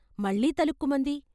మళ్ళీ తళుక్కుమంది.